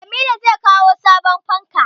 Jamilu zai kawo sabon fanka